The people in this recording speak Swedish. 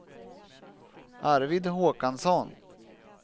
Arvid Håkansson